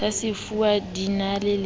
sa sefuwa di na le